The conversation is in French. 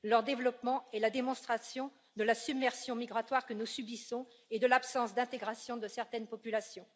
Leur développement est la démonstration de la submersion migratoire que nous subissons et de l'absence d'intégration de certaines populations.